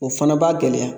O fana b'a gɛlɛya